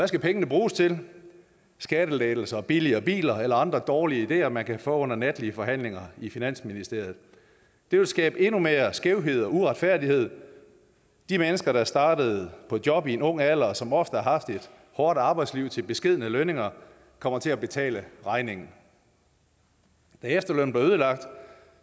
skal pengene bruges til skattelettelser billigere biler eller andre dårlige ideer man kan få under natlige forhandlinger i finansministeriet det vil skabe endnu mere skævhed og uretfærdighed de mennesker der startede på job i en ung alder og som ofte har haft et hårdt arbejdsliv til beskedne lønninger kommer til at betale regningen da efterlønnen blev ødelagt